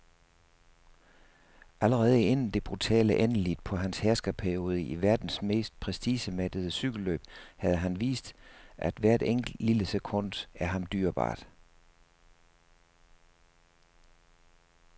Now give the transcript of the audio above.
Allerede inden det brutale endeligt på hans herskerperiode i verdens mest prestigemættede cykelløb havde han vist, at hvert enkelt, lille sekund er ham dyrebart.